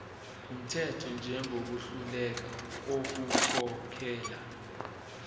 wumthetho njengohluleka ukukhokhela